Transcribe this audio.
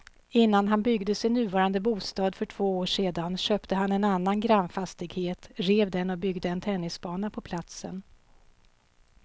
Innan han byggde sin nuvarande bostad för två år sedan köpte han en annan grannfastighet, rev den och byggde en tennisbana på platsen.